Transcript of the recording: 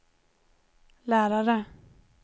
lärare